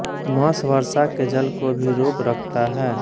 moss वर्षा के जल को भी रोक रखता है